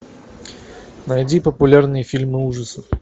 найди популярные фильмы ужасов